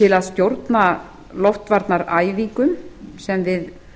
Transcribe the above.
til að stjórna loftvarnaæfingum sem við